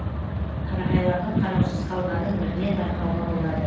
қарағайлардың қараусыз қалғанын бірден байқауға болады